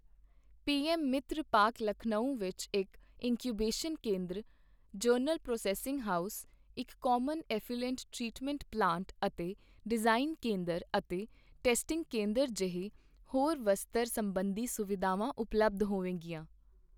PM Mitra park Lucknow ਵਿੱਚ ਇੱਕ incubation ਕੇਂਦਰ, ਜਨਰਲ ਪ੍ਰੋਸੈੱਸਿੰਗ ਹਾਊਸ, ਇੱਕ ਕਾਮਨ ਐਫਲੂਐਂਟ ਟ੍ਰੀਟਮੈਂਟ ਪਲਾਂਟ ਅਤੇ ਡਿਜਾਇਨ ਕੇਂਦਰ ਅਤੇ ਟੈਸਟਿੰਗ ਕੇਂਦਰ ਜਿਹੇ ਹੋਰ ਵਸਤਰ ਸਬੰਧੀ ਸੁਵਿਧਾਵਾਂ ਉਪਲਬਧ ਹੋਵੇਗੀਆਂ।